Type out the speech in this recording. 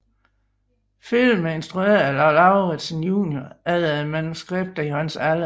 Filmen er instrueret af Lau Lauritzen junior efter et manuskript af Johannes Allen